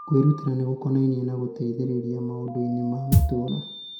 Kwĩrutĩra nĩ gũkonainie na gũteithĩrĩria maũndũ-inĩ ma matũũra.